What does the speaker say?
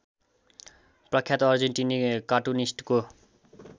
प्रख्यात अर्जेन्टिनी कार्टुनिस्टको